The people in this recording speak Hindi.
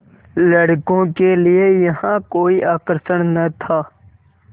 लड़कों के लिए यहाँ कोई आकर्षण न था